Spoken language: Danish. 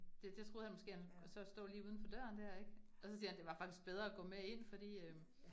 Det det troede han måske, han så stå lige udenfor døren dér ik, og så siger han, det var faktisk bedre at gå med ind fordi øh